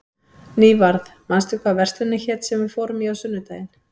Nývarð, manstu hvað verslunin hét sem við fórum í á sunnudaginn?